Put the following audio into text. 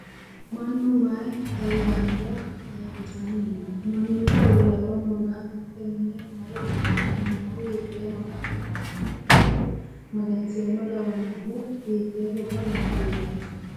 Mannu mayi ayyaanna ayirrisanno no ? Mannu quullaawa maga'note mine marre huuciranni noohu hiitte ama'note miniraati ? Maganni-seemmo lawannohu hiittee gobba baandiiraati ?